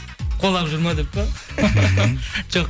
қуалап жүр ме деп пе жоқ